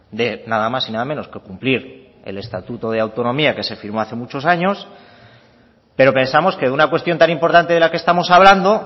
de nada más y nada menos que cumplir el estatuto de autonomía que se firmó hace muchos años pero pensamos que de una cuestión tan importante de la que estamos hablando